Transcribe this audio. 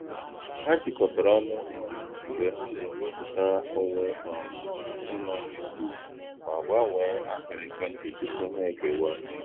Ha jikọtara ọnụ um mgbe ha na-ewepụta onwe um ha ịrụ ọrụ efu, ma gbanwee akara ekwentị tupu ha ekewa